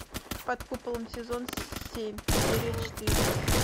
под куполом сезон семь серия четыре